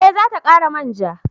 Eh za ta kara manja